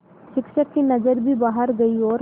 शिक्षक की नज़र भी बाहर गई और